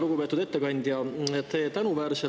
Lugupeetud ettekandja!